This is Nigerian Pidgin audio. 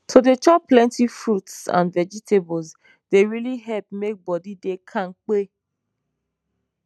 to dey chop plenty fruits and vegetables dey really help make bodi dey kampe